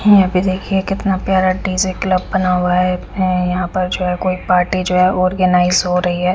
यहां पे देखिए कितना प्यारा डी_जे क्लब बना हुआ है अह यहां पर जो है कोई पार्टी जो है ऑर्गेनाइज हो रही है।